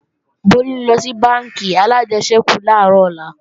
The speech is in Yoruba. Bólú ńlọ sí bánkì alájẹsẹ́kù làárọ̀ ọ̀la